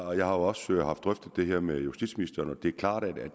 og jeg har også haft drøftet det her med justitsministeren det er klart at